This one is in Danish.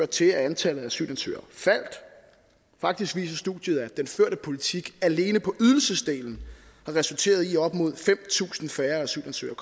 til at antallet af asylansøgere faldt faktisk viser studiet at den førte politik alene på ydelsesdelen har resulteret i at op mod fem tusind færre asylansøgere